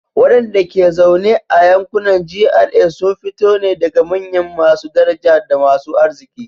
Wadanda ke zaune a yankunan GRA sun fito ne daga manyan masu daraja da masu arziki.